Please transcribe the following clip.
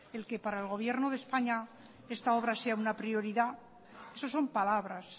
de que para el gobierno de españa esta obra sea una prioridad eso son palabras